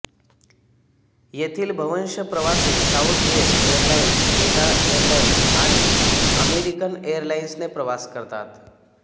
येथील बव्हंश प्रवासी साउथवेस्ट एरलाइन्स डेल्टा एरलाइन्स आणि अमेरिकन एरलाइन्सने प्रवास करतात